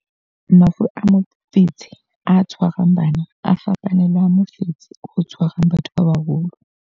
Mafu a mofetshe o tshwarang bana a fapane le a mofetshe o tshwarang batho ba baholo.